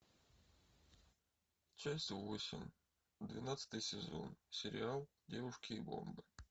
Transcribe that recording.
часть восемь двенадцатый сезон сериал девушки и бомбы